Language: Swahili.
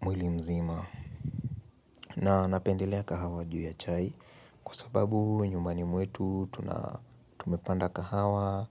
mwili mzima na napendelea kahawa juu ya chai kusababu nyumbani mwetu tumepanda kahawa